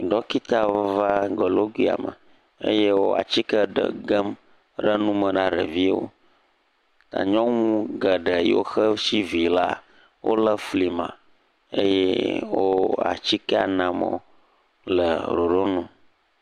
Ɖɔkita va goloƒuia me eye wòa tsike ɖe gem ɖe nume na ɖeviwo. Nyɔnu ke si vi laa, wole fli me eye wòa tsike nam wò ɖe ɖoɖo nu.